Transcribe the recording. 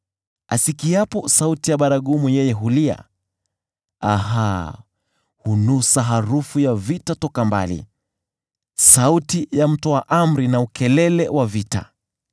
Asikiapo sauti ya baragumu yeye hulia, ‘Aha!’ Hunusa harufu ya vita toka mbali, sauti ya mtoa amri na ukelele wa vita.